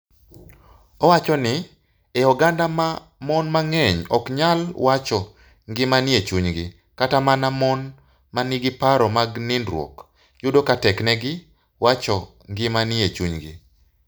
Owacho ni, e oganda ma mon mang'eny ok nyal wacho gima nie chunygi, kata mana mon ma nigi paro mag nindruok, yudo ka teknegi wacho gima nie chunygi.